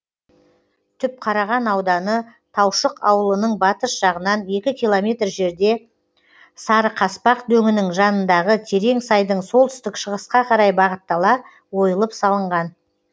түпқараған ауданы таушық ауылының батыс жағынан екі километр жерде сарықаспақ дөңінің жанындағы терең сайдың солтүстік шығысқа қарай бағыттала ойылып салынған